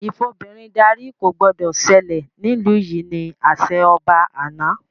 Ìfobìnrin darí” ko gbọdọ̀ sẹlẹ̀ nílu yìí! ni àṣẹ ọba àná